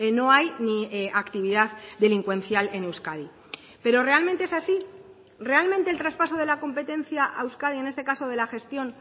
no hay ni actividad delincuencial en euskadi pero realmente es así realmente el traspaso de la competencia a euskadi en este caso de la gestión